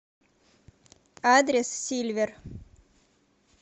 адрес сильвер